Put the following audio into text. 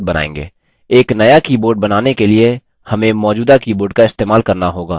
एक नया keyboard बनाने के लिए हमें मौजूदा keyboard का इस्तेमाल करना होगा